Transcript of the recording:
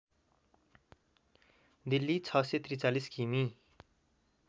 दिल्ली ६४३ किमि